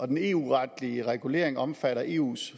den eu retlige regulering omfatter eus